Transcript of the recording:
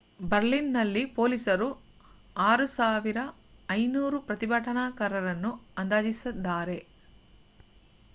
ಬರ್ಲಿನ್‌ನಲ್ಲಿ ಪೊಲೀಸರು 6,500 ಪ್ರತಿಭಟನಾಕಾರರನ್ನು ಅಂದಾಜಿಸಿದ್ದಾರೆ